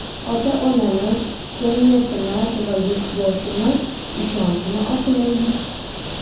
Ota-onamiz, jamiyatimiz va Yurtboshimiz ishonchini oqlaylik!